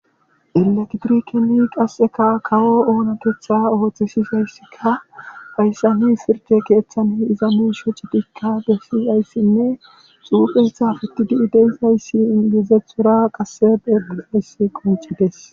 Elektrikeni qasseka kawo oonakeththa ooththi sishayssika hayssa ni sirje keeththani iza miisho citikka bessi ayssinne xuufeysa fetidi7ideezayssi ingizethora qasse bedeayssi qoncides